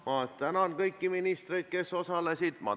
Ma tänan kõiki ministreid, kes osalesid!